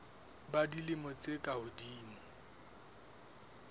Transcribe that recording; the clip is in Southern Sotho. ba dilemo tse ka hodimo